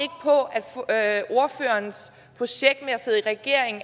og jeg at ordførerens projekt med at sidde i regering